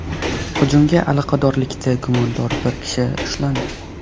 Hujumga aloqadorlikda gumondor bir kishi ushlandi.